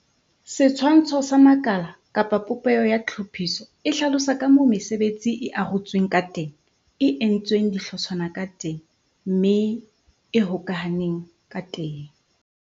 Setshwantsho sa makala kapa popeho ya tlhophiso e hlalosa ka moo mesebetsi e arotsweng ka teng, e entsweng dihlotshwana ka teng, mme e hokahaneng ka teng.